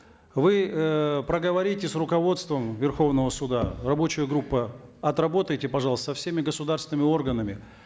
вы эээ проговорите с руководством верховного суда рабочая группа отработайте пожалуйста со всеми государственными органами